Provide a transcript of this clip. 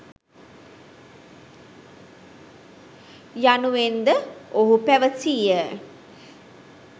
යනුවෙන්ද ඔහු පැවසීය.